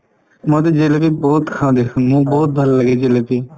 মইতো জেলেপী বহুত খাওঁ দেখুন মোক বহুত ভাল লাগে এই জেলেপী